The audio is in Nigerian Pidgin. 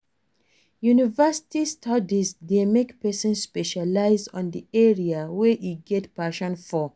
University studies de make persin specialize on the area wey e get passion for